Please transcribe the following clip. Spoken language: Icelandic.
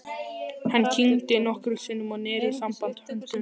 Hann kyngdi nokkrum sinnum og neri saman höndunum.